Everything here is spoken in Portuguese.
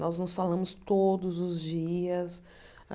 Nós nos falamos todos os dias.